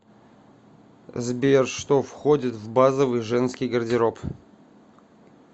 сбер что входит в базовый женский гардероб